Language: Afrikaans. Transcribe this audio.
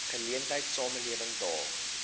geleentheid samelewing daag